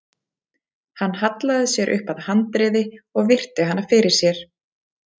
Hann hallaði sér upp að handriði og virti hana fyrir sér.